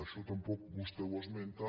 això tampoc vostè ho esmenta